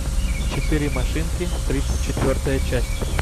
четыре машинки тридцать четвертая часть